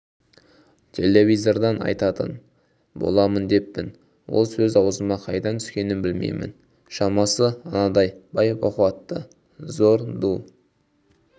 телевизордан айтатын боламын деппін ол сөз аузыма қайдан түскенін білмеймін шамасы анадай бай-бақуатты зор ду